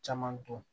Caman dɔn